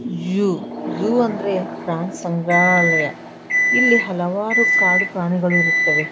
Zoo zoo ಅಂದ್ರೆ ಪ್ರಾಣಿ ಸಂಗ್ರಾಲಯ. ಇಲ್ಲಿ ಹಲವಾರು ಕಾಡು ಪ್ರಾಣಿ ಗಳು ಇರುತ್ತವೆ.